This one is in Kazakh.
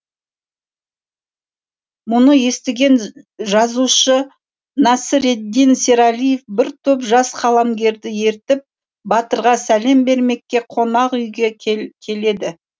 мұны естіген жазушы нәсіреддин сералиев бір топ жас қаламгерді ертіп батырға сәлем бермекке қонақүйге келеді